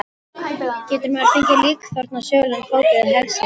Getur maður fengið líkþorn á sögulegan fót eða hælsæri?